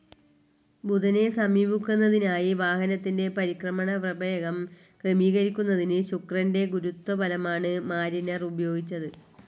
ബുധനെ സമീപിക്കുന്നതിനായി വാഹനത്തിന്റെ പരിക്രമണ പ്രവേഗം ക്രമീകരിക്കുന്നതിന്‌ ശുക്രന്റെ ഗുരുത്വബലമാണ്‌ മാരിനർ ഉപയോഗിച്ചത്.